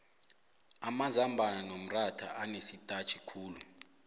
amazambana nomxhatha anesitatjhikhulu